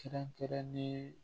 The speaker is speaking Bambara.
Kɛrɛnkɛrɛnnen